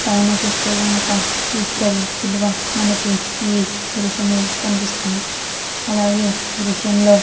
పైన చూస్తే కనుక యేసు ప్రభువు శిలువ మనకి ఈ దృశ్యంలో కనిపిస్తూ ఉన్నది. అలాగే ఈ దృశ్యం లో --